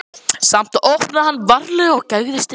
Samt opnaði hann varlega og gægðist inn.